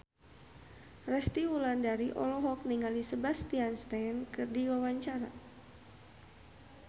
Resty Wulandari olohok ningali Sebastian Stan keur diwawancara